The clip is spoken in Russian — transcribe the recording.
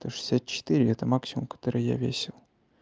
сто шестьдесят четыре это максимум который я весил